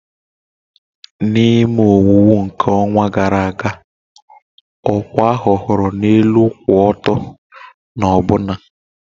Na ime owuwu nke ọnwa gara aga, ọkwa ahu hụru na elu kwụ ọtọ na ọbụna.